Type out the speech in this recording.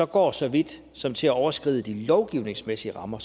går så vidt som til at overskride de lovgivningsmæssige rammer